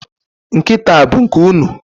Nkịta a bụ nke unu?